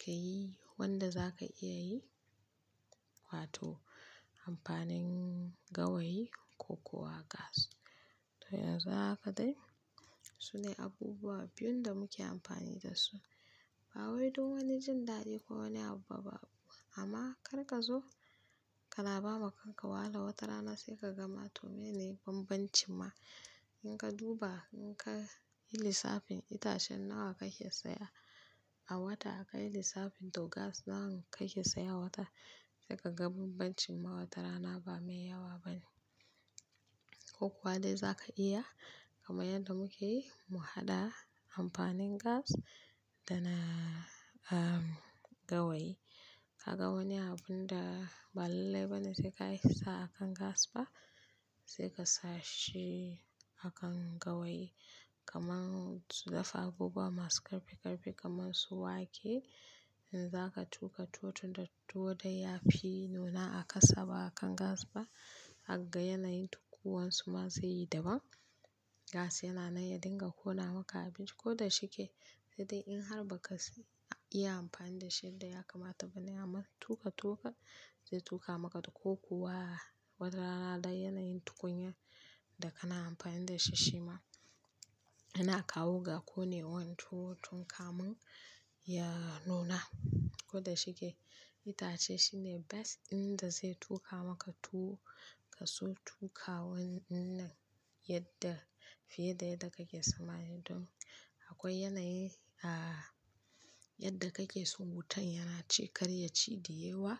ka yi wanda za ka iya yi wato amfanin gawayi ko kuwa gas. To yanzu haka dai sune abubuwa biyun da muke amfani dasu. Ba wai don wani jin daɗi ko wani abu ba fa, amma kar ka zo kana ba ma kanka wahala, wata rana sai ka ga ma toh meye ne bambancin ma. In ka duba, in ka yi lissafin itacen nawa kake saya a wata, ka yi lissafin toh gas nawa kake saya a wata, sai ka ga bambancin ma wata rana ba mai yawa bane. Ko kuwa dai za ka iya, kama yadda muke yi, mu haɗa amfanin gas da na gawayi. Kaga wani abun da ba lallai bane sai ka yi sa akan gas ba sai ka sa shi akan gawayi. Kaman dafa abubuwa masu ƙarfi-ƙarfi' kaman su wake, in zaka tuka tuwo tun da tuwo dai ya fi nuna a kasa ba akan gas ba. Hagga yanayin tukuwansu ma zai yi daban. Gas yana nan ya dinga ƙona maka abinci, ko da shike. Sai dai in har ba ka iya amfani da shi yadda ya kamata bane, amma tuka tuwan ka, zai tuka maka toh ko kuwa wata rana dai yanayin tukunya da kana amfani da shi, shi ma yana kawo ga ƙonewan tuwo tun kamun ya nuna. Ko da shike, itace shine best in da zai tuka maka tuwo, ka so tuka wannan yadda fiye da yadda kake so mai dun, akwai yanayi a yadda kake so wutan yana ci kar ya ci da yawa.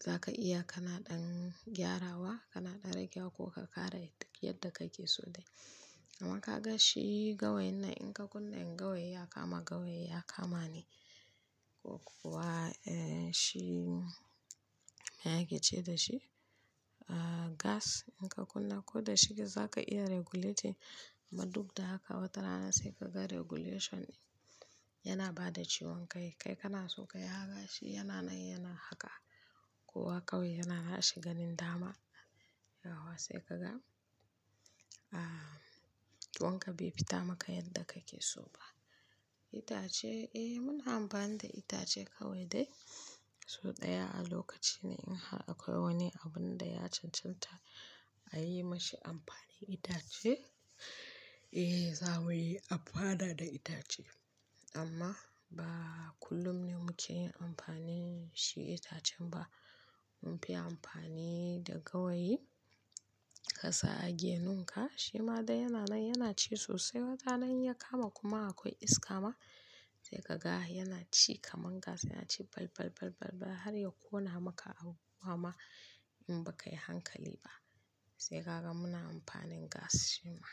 Za ka iya kana ɗan gyarawa, kana ɗan ragewa ko ka ƙara yadda kake so dai. Amma kaga shi gawain nan, in ka kunna, in gawayi ya kama, gawayi ya kama ne. Ko kuwa eh shi me ake ce da shi? Gas in ka kunna ko da shike za ka iya regulating. Amma duk da haka wata rana sai ka ga regulation din yana ba da ciwon kai. Kai kana so ka yi haka, shi yana nan yana haka. Kowa kawai yana nashi ganin dama. Yawwa sai kaga ciwon ka bai fita maka yadda kake so ba. Itace eh muna amfani da itace kawai dai. So ɗaya a lokaci ne, in har akwai wani abun da ya cancanta a yi ma shi amfanin itace, eh za a mai amfana da itace. Amma ba kullum ne muke yin amfani shi itacen ba. Mun fi amfani da gawayi ka sa a genunka, shi ma dai yana nan yana ci sosai, wata rana in ya kama kuma akwai iska ma, sai kaga yana ci kaman gas yana ci bal bal bal bal bal har ya ƙona maka abubuwa ma in ba ka yi hankali ba. Sai kaga muna amfanin gas shi ma.